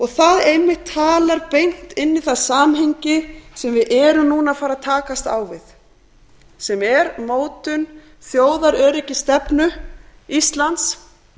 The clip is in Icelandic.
það einmitt talar beint inn í það samhengi sem við erum núna að fara að takast á við sem er mótun þjóðaröryggisstefnu íslands